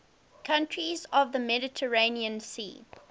countries of the mediterranean sea